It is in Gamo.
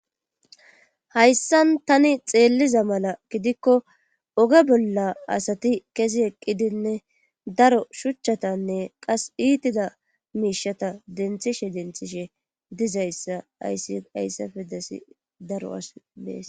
Hayssan tani xeelliza mala gidikko oge bolla asati kezi eqqidinne daro shuchchatanne qas iitida miishata denthishe denthishe dizayssa ayihayssafe desi daro as mees.